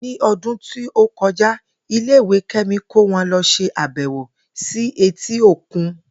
Ní o̩dún tí ó ko̩ja, ilé ìwé Ké̩mi kó wo̩n lo̩ s̩e àbè̩wò sí etí òkun